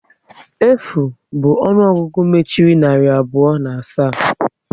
Efu bụ ọnụọgụgụ mechiri narị abụọ na asaa